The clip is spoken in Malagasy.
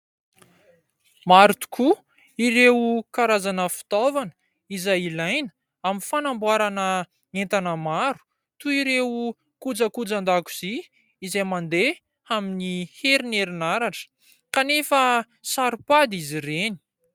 Maro tokoa ireo karazana fitaovana izay ilaina, amin'ny fanamboarana entana maro toy ireo kojakoja an-dakozia izay mandeha amin'ny herinaratra, kanefa saropady izy reny.